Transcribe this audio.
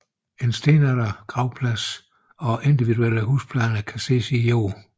En stenaldergravplads og individuelle husplaner kan ses i jorden